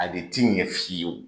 A de tɛ ɲɛ f'i ye.